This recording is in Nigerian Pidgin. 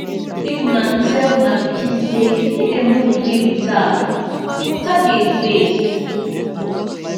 make una tell una pikin sey make dem no play with tap water dey waste